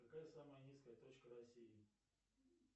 какая самая низкая точка россии